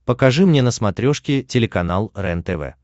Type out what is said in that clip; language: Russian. покажи мне на смотрешке телеканал рентв